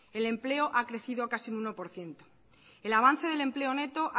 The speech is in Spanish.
el empleo ha crecido casi un uno por ciento el avance del empleo neto